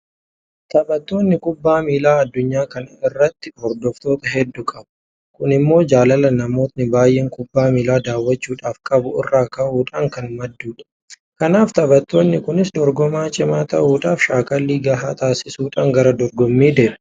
Taphattoonni Kubbaa miilaa addunyaa kana irratti hordoftoota hedduu qabu. Kun immoo jaalala namoonni baay'een kubbaa miilaa daawwachuudhaaf qabu irraa ka'uudhaan kan maddudha. Kanaaf taphattoonni kunis dorgomaa cimaa ta'uudhaaf shaakallii gahaa taasisuudhaan gara dorgommii deemu.